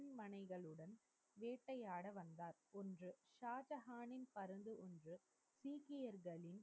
மனைகளுடன், வேட்டையாட வந்தார். ஒன்று, ஷாஜகானின் இருந்து சீக்கியர்களின்,